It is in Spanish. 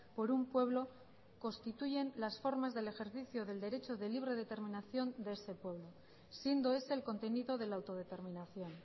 por un pueblo constituyen las formas del ejercicio del derecho de libre determinación de ese pueblo siendo ese el contenido de la autodeterminación